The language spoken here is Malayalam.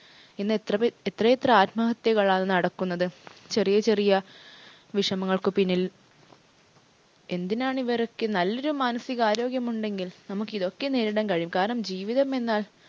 ഇന്ന് എത്ര പേ എത്ര എത്ര ആത്മഹത്യകളാണ് നടക്കുന്നത്? ചെറിയ ചെറിയ വിഷമങ്ങൾക്ക് പിന്നിൽ എന്തിനാണ് ഇവരൊക്കെ നല്ലൊരു മാനസിക ആരോഗ്യം ഉണ്ടെങ്കിൽ നമുക്കിതൊക്കെ നേരിടാൻ കഴിയും. കാരണം ജീവിതമെന്നാൽ